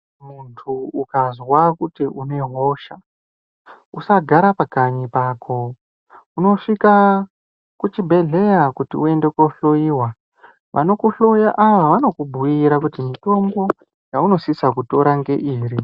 Muntu ukazwa kuti une hosha usagara pakanyi pako unosvikaa kuchibhedhlera kuti eundekohloiwa , vanokuhloya ava vanokubhiira kuti mutombo yaunosisa kutora ngeiri.